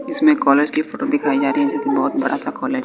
इसमें कॉलेज की फोटो दिखाई जा रही है जो कि बहुत बड़ा सा कॉलेज है।